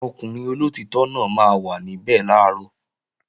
Ọkùnrin olóòtítọ́ náà máa wà níbẹ̀ làárọ̀